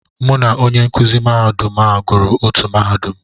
Mụ na onye nkụzi mahadum a gụrụ otú mahadum.